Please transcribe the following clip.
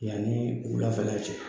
Yanni wulafɛla cɛ